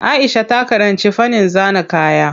Aisha ta karanci fannin zana kaya.